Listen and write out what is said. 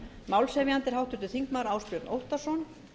málshefjandi er háttvirtir þingmenn ásbjörn óttarsson